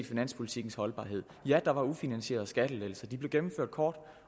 finanspolitikkens holdbarhed ja der var ufinansierede skattelettelser de blev gennemført kort